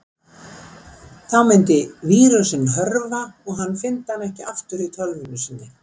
Þá myndi vírusinn hörfa og hann fyndi hann ekki aftur í tölvunni sinni.